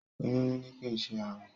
Oyún níní kìí ṣe àrùn.